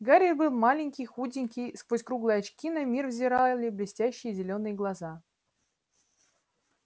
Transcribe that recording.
гарри был маленький худенький сквозь круглые очки на мир взирали блестящие зелёные глаза